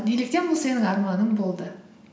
неліктен бұл сенің арманың болды